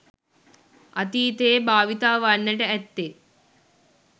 අතීතයේ භාවිතා වන්නට ඇත්තේ